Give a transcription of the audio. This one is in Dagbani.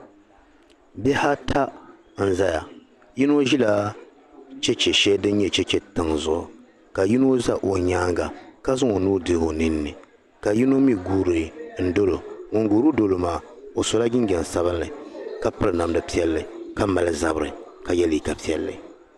Bihi ata n zaya yino ʒila cheche shɛli din nyɛ Cheche tiŋ zuɣu ka yino za o nyaaga ka zaŋ o nuu dihi o nini ka yino mi guuri n dolo ka ŋun guuri dolo maa o sola jinjam sabili ka piri namdi piɛli ka mali zabiri ka ye liika piɛli